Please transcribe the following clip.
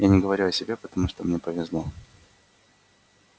я не говорю о себе потому что мне повезло